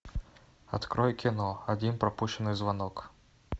открой кино один пропущенный звонок